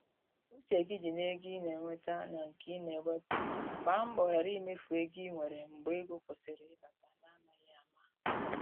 Uche gị di n’ego ị na enweta na nke i na ewepụ, gba mbọ ghara imefu ego i nwere mgbe ego kwụsịrị ịbata n’amaghị ama.